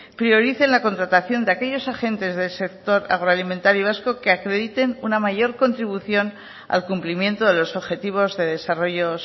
priorice la contratación de aquellos agentes del sector agroalimentario vasco que acrediten una mayor contribución al cumplimiento de los objetivos de desarrollo